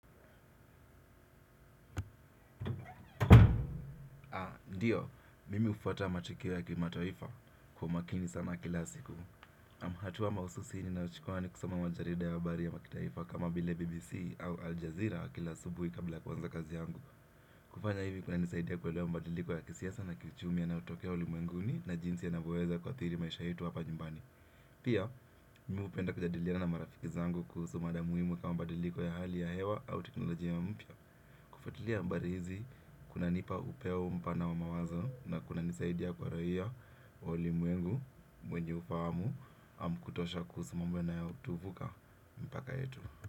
Ndio, mimi hufwata matukio ya kimataifa kwa makini sana kila siku. Naam hatua mahususi ninayochukuwa ni kusoma majarida ya habari ya kimataifa kama bile BBC au Al Jazeera kila asubuhi kabla ya kuanza kazi yangu. Kufanya hivi kunanisaidia kuelewa mabadiliko ya kisiasa na kiuchumi yanayotokea ulimwenguni na jinsi yanavyoweza kuathiri maisha yetu hapa nyumbani. Pia, mimi hupenda kujadiliana na marafiki zangu kuhusu mada muhimu kama mabadiliko ya hali ya hewa au teknolojia mpya. Kufuatulia habari hizi, kunanipa upeo mpana wa mawazo na kunanisaidia kwa raia wa ulimwengu, mwenye ufahamu, ama kutosha kuhusu mambo yanayotuvuka mpaka yetu.